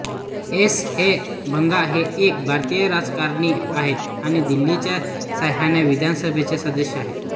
S K Bagga हे एक भारतीय राजकारणी आहेत आणि दिल्लीच्या सहाव्या विधानसभेचे सदस्य आहेत